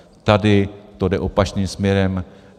Tady to jde opačným směrem.